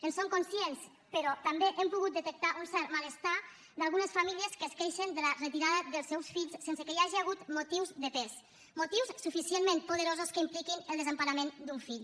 en som conscients però també hem pogut detectar un cert malestar d’algunes famílies que es queixen de la retirada dels seus fills sense que hi hagi hagut motius de pes motius suficientment poderosos que impliquin el desemparament d’un fill